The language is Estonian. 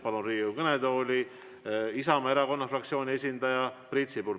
Palun Riigikogu kõnetooli Isamaa fraktsiooni esindaja Priit Sibula.